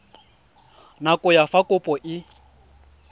nako ya fa kopo e